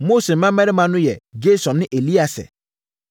Mose mmammarima no yɛ Gersom ne Elieser.